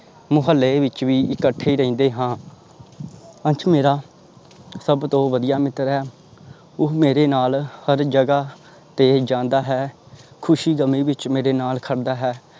ਮੁਹੱਲੇ ਵਿੱਚ ਵੀ ਇਕੱਠੇ ਰਹਿੰਦੇ ਹਾਂ ਅੰਸ਼ ਮੇਰਾ ਸਭ ਤੋਂ ਵਧੀਆ ਮਿੱਤਰ ਹੈ। ਉਹ ਮੇਰੇ ਨਾਲ ਹਰ ਜਗ੍ਹਾ ਤੇ ਜਾਂਦਾ ਹੈ। ਖ਼ੁਸ਼ੀ ਗਮੀ ਵਿੱਚ ਮੇਰੇ ਨਾਲ ਖੜਦਾ ਹੈ।